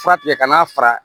Fura tigɛ ka n'a fara